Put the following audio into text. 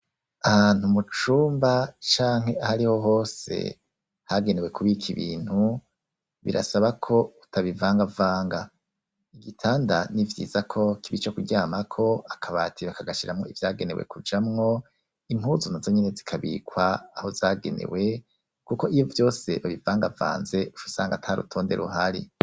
Ahantu mucumba, canke aho ariho hose, hagenewe kubika ibintu, birasaba ko utabivangavanga, igitanda nivyiza ko kiba ico kuryamako, akabati bakagashiramo ivyagenewe kujamwo, impuzu nazo nyene zikabikwa aho zagenewe, kuko ivyo vyose babivangavanze, uca usanga ata rutonde ruhari.